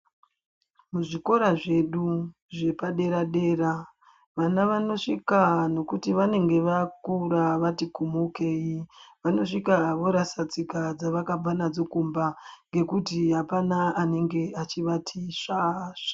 Mu zvikora zvedu zvepa dera dera vana vanosvika nekuti vanenge vakura vati kumuke vano svika vorasa tsika dzavakabva nadzo kumba ngekuti hapana anenge echivati sva sva.